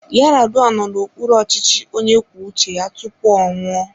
Yaradua nọ n'okpuru ọchịchị onye kwuo uche ya tupu ọ nwụọ.